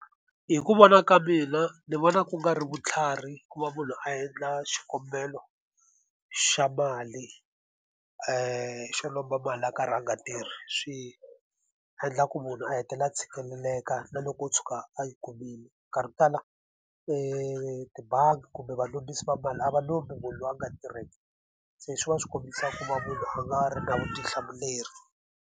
Hi ku vona ka mina ni vona ku nga ri vutlhari ku va munhu a endla xikombelo xa mali xo lomba mali a karhi a nga tirhi. Swi endla ku munhu a hetelela a tshikeleleka na loko wo tshuka a yi kumile. Nkarhi wo tala etibangi kumbe valombisi va mali a va lomu munhu loyi a nga tirheki, se swi va swi kombisa ku va munhu a nga ri na vutihlamuleri.